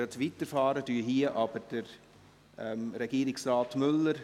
Müller bleibt für das nächste Geschäft auch noch hier.